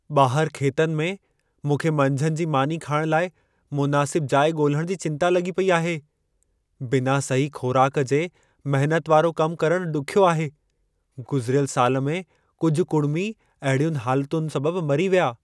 ॿाहरि खेतनि में, मूंखे मंझंदि जी मानी खाइण लाइ मुनासिब जाइ ॻोल्हण जी चिंता लॻी पेई आहे। बिना सही ख़ोराक जे महनत वारो कमु करणु ॾुखियो आहे। गुज़िरियल साल में कुझु कुड़िमी अहिड़ियुनि हालतुनि सबबु मरी विया।